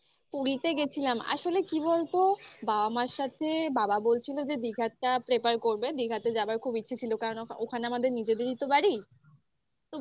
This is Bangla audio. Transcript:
পুরীতে গেছিলাম. আসলে কি বলতো বাবা মার সাথে বাবা বলছিল যে দীঘাটা prefer করবে. দীঘাতে যাওয়ার খুব ইচ্ছে ছিল. কারণ ওখানে আমাদের নিজেদেরই তো বাড়ি